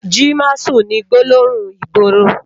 Ji másùn ni gbólóhún igbóró